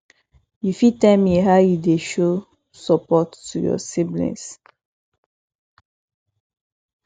you fit tell me how you dey show support to your siblings